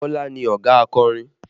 Bọlá ni ọ̀gá akọrin